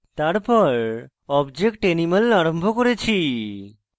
তারপর object animal আরম্ভ করেছি